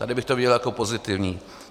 Tady bych to viděl jako pozitivní.